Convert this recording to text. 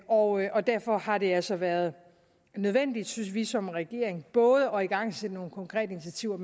og og derfor har det altså været nødvendigt synes vi som regering både at igangsætte nogle konkrete initiativer